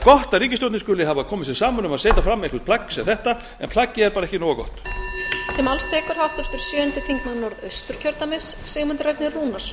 gott að ríkisstjórnin skuli hafa komið sér saman um að setja fram eitthvert plagg sem þetta en plaggið er bara ekki nógu gott